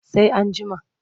Sai an jima.